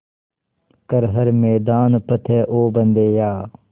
कर हर मैदान फ़तेह ओ बंदेया